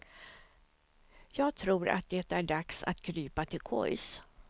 Jag tror att det är dags att krypa till kojs.